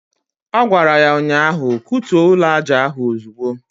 Ọ gwara ya ụnyaahụ"Kutuo ụlọaja ahụ ozugbo"